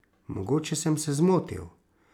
Mogoče sem se zmotil.